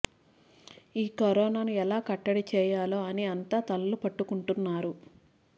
ఈ కరోనా ను ఎలా కట్టడి చేయాలా అని అంత తలలు పట్టుకుంటున్నారు